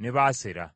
ne Baasera.